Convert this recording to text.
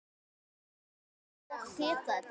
Að mega og geta þetta.